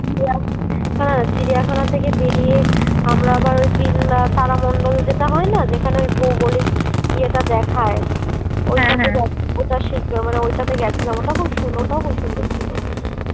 হ্যাঁ চিড়িয়াখানা থেকে বেরিয়ে আমরা আবার ওই বিল্লা সালামন্ডল যেতে হয় না যেখানে ওই ভৌগোলিক ইয়েটা দেখায় ওটাতে ওটা শিখবে মানে ঐটাতে গেছিলাম ওটা খুব সুন্দর ওটাও খুব সুন্দর ছিল"